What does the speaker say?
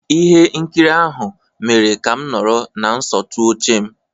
Ihe nkiri ahụ mere ka m nọrọ na nsọtụ oche m.